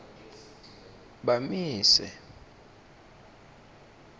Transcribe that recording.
bamise